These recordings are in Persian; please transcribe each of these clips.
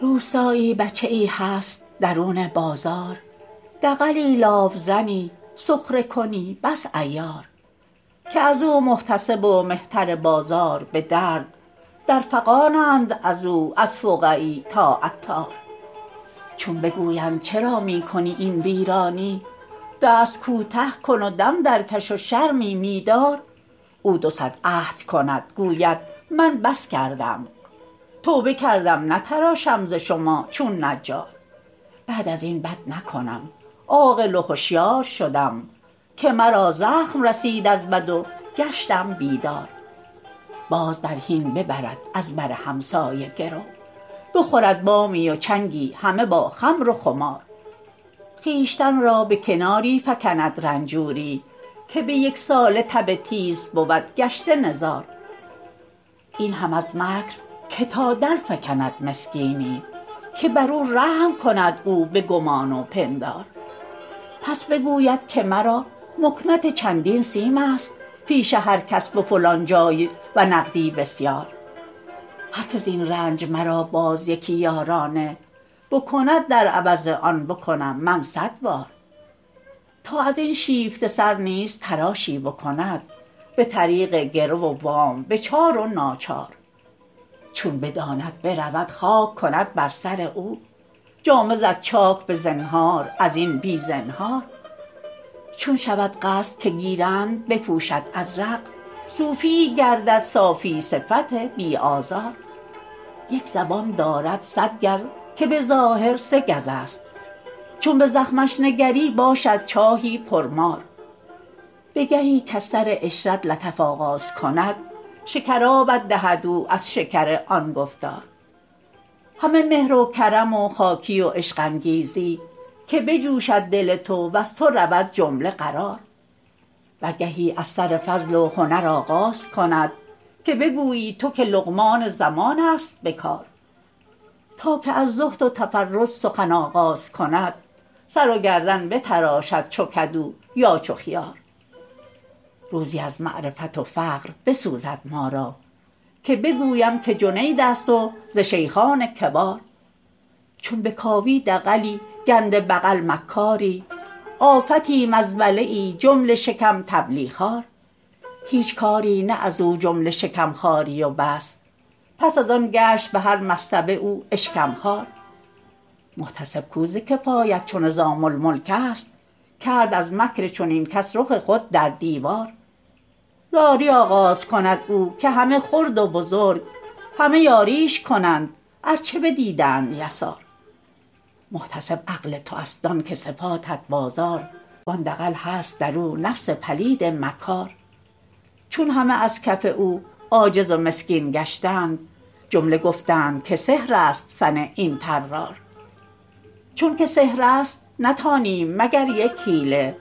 روستایی بچه ای هست درون بازار دغلی لاف زنی سخره کنی بس عیار که از او محتسب و مهتر بازار بدرد در فغانند از او از فقعی تا عطار چون بگویند چرا می کنی این ویرانی دست کوته کن و دم درکش و شرمی می دار او دو صد عهد کند گوید من بس کردم توبه کردم نتراشم ز شما چون نجار بعد از این بد نکنم عاقل و هوشیار شدم که مرا زخم رسید از بد و گشتم بیدار باز در حین ببرد از بر همسایه گرو بخورد بامی و چنگی همه با خمر و خمار خویشتن را به کناری فکند رنجوری که به یک ساله تب تیز بود گشته نزار این هم از مکر که تا درفکند مسکینی که بر او رحم کند او به گمان و پندار پس بگوید که مرا مکنت چندین سیم است پیش هر کس به فلان جای و نقدی بسیار هر که زین رنج مرا باز یکی یارانه بکند در عوض آن بکنم من صد بار تا از این شیفته سر نیز تراشی بکند به طریق گرو و وام به چار و ناچار چون بداند برود خاک کند بر سر او جامه زد چاک به زنهار از این بی زنهار چون شود قصد که گیرند بپوشد ازرق صوفیی گردد صافی صفت بی آزار یک زبان دارد صد گز که به ظاهر سگزست چون به زخمش نگری باشد چاهی پرمار به گهی کز سر عشرت لطف آغاز کند شکرابت دهد او از شکر آن گفتار همه مهر و کرم و خاکی و عشق انگیزی که بجوشد دل تو وز تو رود جمله قرار و گهی از سر فضل و هنر آغاز کند که بگویی تو که لقمان زمانست به کار تا که از زهد و تقزز سخن آغاز کند سر و گردن بتراشد چو کدو یا چو خیار روزی از معرفت و فقه بسوزد ما را که بگویم که جنیدست و ز شیخان کبار چون بکاوی دغلی گنده بغل مکاری آفتی مزبله ای جمله شکم طبلی خوار هیچ کاری نه از او جمله شکم خواری و بس پس از آن گشت به هر مصطبه او اشکم خوار محتسب کو ز کفایت چو نظام الملکست کرد از مکر چنین کس رخ خود در دیوار زاری آغاز کند او که همه خرد و بزرگ همه یاریش کنند ار چه بدیدند یسار محتسب عقل تو است دان که صفاتت بازار وان دغل هست در او نفس پلید مکار چون همه از کف او عاجز و مسکین گشتند جمله گفتند که سحرست فن این طرار چونک سحرست نتانیم مگر یک حیله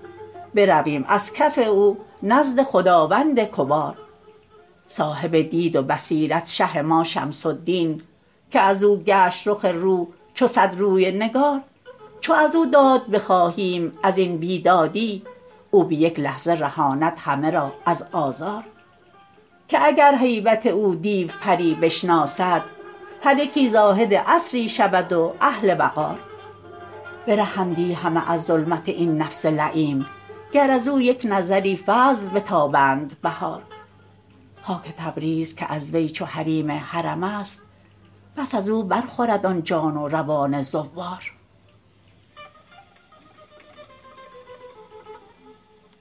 برویم از کف او نزد خداوند کبار صاحب دید و بصیرت شه ما شمس الدین که از او گشت رخ روح چو صد روی نگار چو از او داد بخواهیم از این بیدادی او به یک لحظه رهاند همه را از آزار که اگر هیبت او دیو پری نشناسد هر یکی زاهد عصری شود و اهل وقار برهندی همه از ظلمت این نفس لییم گر از او یک نظری فضل بتابند بهار خاک تبریز که از وی چو حریم حرم است بس از او برخورد آن جان و روان زوار